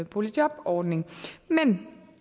boligjobordning men